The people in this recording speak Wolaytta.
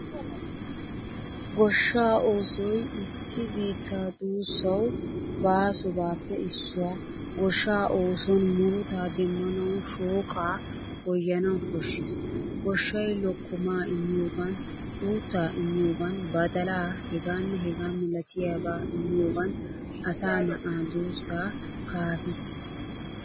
Goshshaa oosoy issi biittaa duussawu baasobappe issuwaa. Goshshaa oosuwan murutta demmanawu shooqqa goyanawu koshshees. Goshshay lokkoma immiyogan, uutta immiyogan badalaa h.h.milatiyaba immiyogan asaa na'aa duussaa kaafiis.